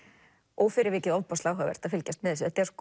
og fyrir vikið ofboðslega áhugavert að fylgjast með